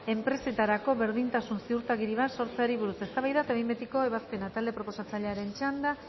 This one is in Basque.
enpresetarako berdintasun ziurtagiri bat sortzeari buruz eztabaida eta behin betiko ebazpena talde proposatzailearen txanda